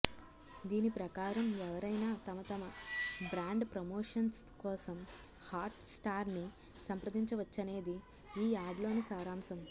దీని ప్రకారం ఎవరైనా తమ తమ బ్రాండ్ ప్రమోషన్స్ కోసం హాట్ స్టార్ని సంప్రదించవచ్చనేది ఈ యాడ్లోని సారాంశం